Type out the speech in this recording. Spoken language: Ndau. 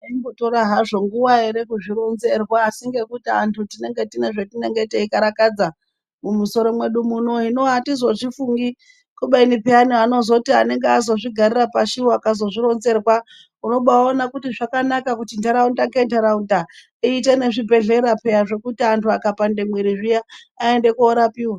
Zvaimbo tora hazvo nguva ere kuzvi ronzerwa asi ngekutu antu tinenge tine zvetinenge tei karakadza mu musoro mwedu muno hino atizo zvifungi kubeni peyani anozoti anenge azozvi garira pashi wo aka ronzerwa unobai ona kuti zvakanaka kuti ndaraunda nge ndauraunda iite ne zvibhedhlera peya zvekuti antu aka pande mwiri zviya aende ko rapiwa.